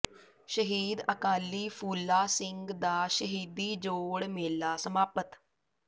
ਸ਼ਹੀਦ ਅਕਾਲੀ ਫੂਲਾ ਸਿੰਘ ਦਾ ਸ਼ਹੀਦੀ ਜੋੜ ਮੇਲਾ ਸਮਾਪਤ